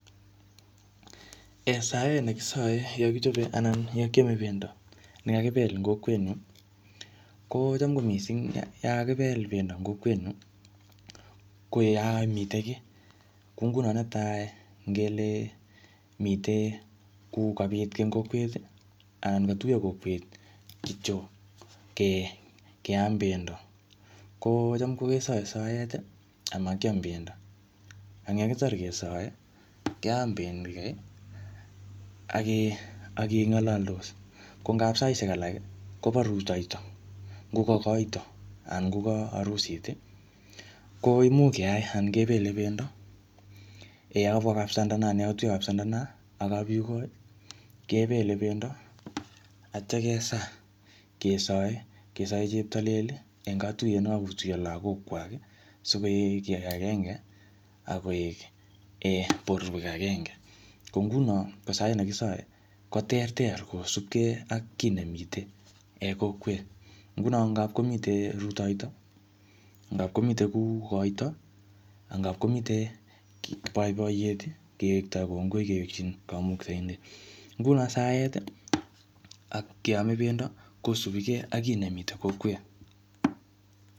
um Saet nekisae yekichope anan yekaime pendo ne kakibel eng kokwet nyu, kocham ko missing yakakibel pendo eng kokwet nyu, koyamite kiy. Ko nguno netai ngele mitei kuu kobit ki eng kokwet, anan katuyo kokwet kityo ke-keam pendo. Kocham kesae saet amakiam pendo. Eng yekitar kesae, keam penyi kai, ake-akengalaldos. Kongap saishek alak, koba rutoito. Ngoka koito, anan ngoka arusit, ko imuch keai ana kepele pendo. Yakabwa kapsandana, yakatuyo kap sandana ak kapyugoi, kepele pendo, atya kesaa. Kesae, kesae cheptalel eng katuyet ne kakotuyo lagok kwai, sikoek ki age agenge, akoek um borwek agenge. Ko nguno, ko saet nekisae, ko ter ter kosupke ak ki nemite kokwet. Nguno ngapkomite rutoito, ngapkomite kuu koito. Ngapkomite boiboiyet, kewektoi kongoi kewekchin kamuktaindet. Nguno saet, ak keame pendo, kosubikey ak kiy nemite kokwet.